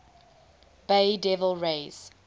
bay devil rays